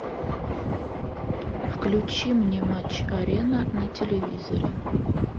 включи мне матч арена на телевизоре